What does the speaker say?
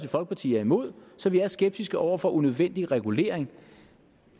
folkeparti er imod så vi er skeptiske over for unødvendig regulering